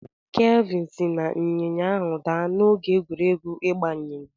Kelvin si n'ịnyịnya ahụ daa n'oge egwuregwu ịgba ịnyịnya.